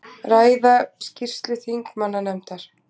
Ræða skýrslu þingmannanefndar